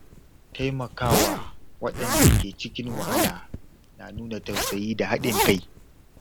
Taimakawa waɗanda ke cikin wahala na nuna tausayi da haɗin kai.